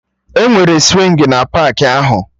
Enwere swingi na paakị ahụ